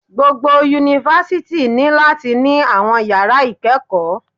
Gbogbo Yunifásítì ní láti ní àwọn yàrá ìkẹ́kọ̀ọ́